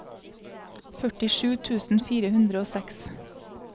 førtisju tusen fire hundre og seks